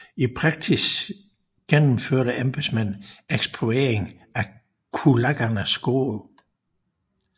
I praksis gennemførte embedsmænd ekspropriering af kulakkernes gårde